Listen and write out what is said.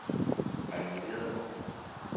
Ejvind Nedergaard